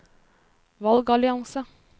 valgallianse